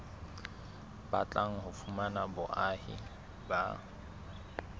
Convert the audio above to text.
batlang ho fumana boahi ba